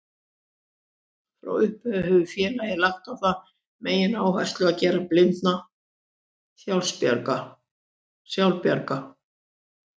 Frá upphafi hefur félagið lagt á það megináherslu að gera blinda sjálfbjarga.